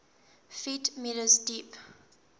ft m deep